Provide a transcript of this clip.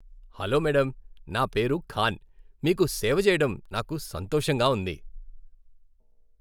Hello madam, నా పేరు ఖాన్, మీకు సేవ చేయడం నాకు సంతోషంగా ఉంది.